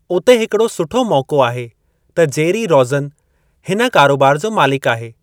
उते हिकड़ो सुठो मौक़ो आहे त जेरी रौज़न हिन कारोबार जो मालिकु आहे।